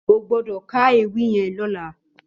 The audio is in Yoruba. Ó gbòdò kà éwì yèn lòlà